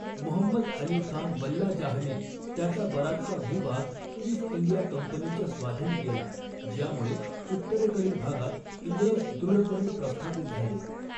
मुहम्मद अली खान वल्लाजाहने त्याचा बराचसा भूभाग ईस्ट इंडिया कंपनीच्या स्वाधीन केला ज्यामुळे उत्तरेकडील भागात इंग्रज दृढपणे प्रस्थापित झाले.